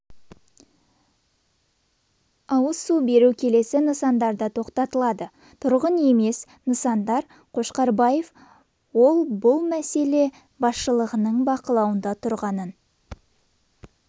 ауыз су беру келесі нысандарда тоқтатылады тұрғын емес нысандар қошқарбаев ол бұл мәселе басшылығының бақылауында тұрғанын